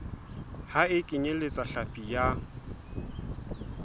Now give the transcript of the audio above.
ha e kenyeletse hlapi ya